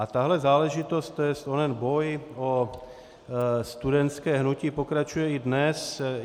A tahle záležitost, to jest onen boj o studentské hnutí, pokračuje i dnes.